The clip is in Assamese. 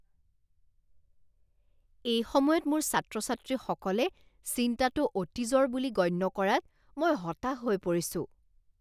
এই সময়ত মোৰ ছাত্ৰ ছাত্ৰীসকলে চিন্তাটো অতীজৰ বুলি গণ্য কৰাত মই হতাশ হৈ পৰিছোঁ।